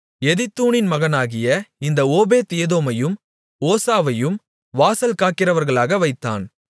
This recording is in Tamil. எதித்தூனின் மகனாகிய இந்த ஓபேத்ஏதோமையும் ஓசாவையும் வாசல்காக்கிறவர்களாக வைத்தான்